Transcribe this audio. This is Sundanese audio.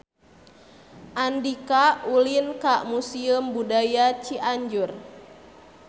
Andika ulin ka Museum Budaya Cianjur